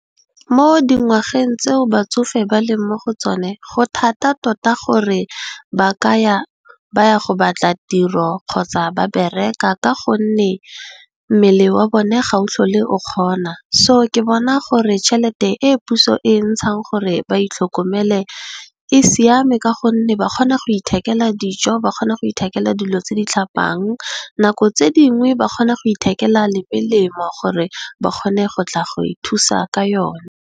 Mo dingwageng tseo batsofe ba leng mo go tsone go thata tota gore ba ka ya go batla tiro kgotsa ba bereka ka gonne, mmele wa bone ga o tlhole o kgona. Ke bona gore tšhelete e puso e e ntshang gore ba itlhokomele e siame ka gonne ba kgona go ithekela dijo, ba kgona go ithekela dilo tse di tlhapang nako tse dingwe ba kgona go ithekela le melemo gore ba kgone go tla go e thusa ka yone.